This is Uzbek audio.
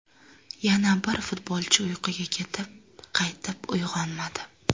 Yana bir futbolchi uyquga ketib, qaytib uyg‘onmadi.